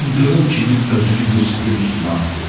İldırım kimi özünü Yusifin üstünə atdı.